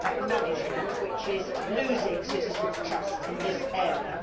poor management which is losing citizens' trust in this area.